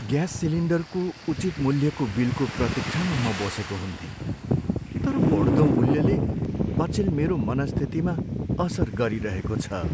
Gas सिलिन्डरको उचित मूल्यको बिलको प्रतिक्षामा म बसेको हुन्थेँ, तर बढ्दो मूल्यले अचेल मेरो मनस्थितिमा असर गरिरहेको छ।